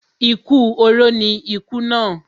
Ikú oró ni ikú ìná.